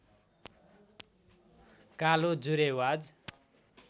कालो जुरेबाज